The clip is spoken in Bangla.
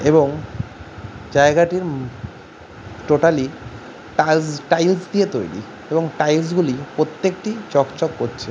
এবং জায়গাটির টোটালি টাইলস টাইলস দিয়ে তৈরী এবং টাইলস গুলি প্রত্যেকটি চকচক করছে ।